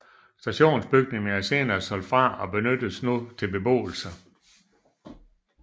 Stationsbygningen er senere solgt fra og benyttes nu til beboelse